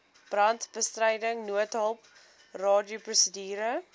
brandbestryding noodhulp radioprosedure